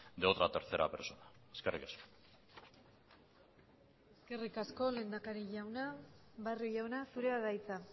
de otra tercera persona eskerrik asko eskerrik asko lehendakari jauna barrio jauna zurea da hitza